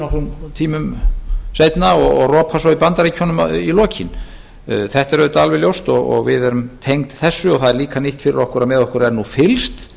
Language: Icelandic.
nokkrum tímum seinna og ropa svo í bandaríkjunum í lokin þetta er auðvitað alveg ljóst og við erum tengd þessu og það er líka nýtt fyrir okkur að með okkur er nú fylgst